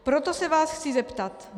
Proto se vás chci zeptat: